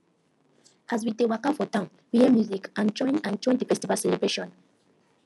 as we dey waka for town we hear music and join and join di festival celebration